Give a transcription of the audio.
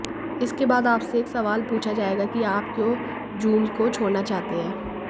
इसके बाद आपसे एक सवाल पूछा जाएगा कि आप क्यों जूम को छोड़ना चाहते हैं